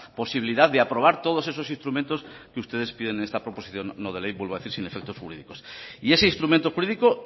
posibilidad de aprobar todos esos instrumentos que ustedes piden en esta proposición no de ley vuelvo a decir sin efectos jurídicos y ese instrumento jurídico